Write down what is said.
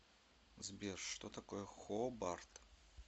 сбер что такое хобарт